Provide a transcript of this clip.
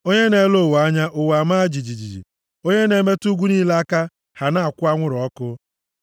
onye na-ele ụwa anya, ụwa amaa jijiji, onye na-emetụ ugwu niile aka, ha na-akwụ anwụrụ ọkụ.